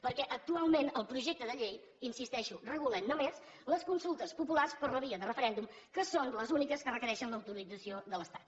perquè actualment el projecte de llei hi insisteixo regula només les consultes populars per la via de referèndum que són les úniques que requereixen l’autorització de l’estat